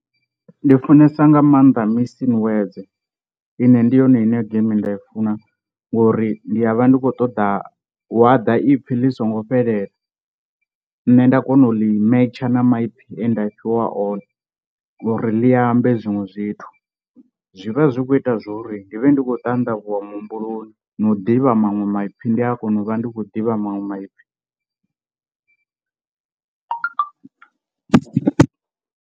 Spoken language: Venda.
Ndi funesa nga maanḓa mussing words ine ndi yone ine iyo geimi nda i funa ngori ndi a vha ndi khou ṱoḓa hu a ḓa ipfhi ḽi singo fhelela nne nda kona u ḽi matcher na maipfhi ane nda fhiwa one uri ḽi ambe zwiṅwe zwithu, zwi vha zwi khou ita zwo ri ndi vhe ndi khou ṱandavhuwa muhumbuloni na u ḓivha maṅwe maipfhi ndi a kona u vha ndi khou ḓivha maṅwe maipfhi.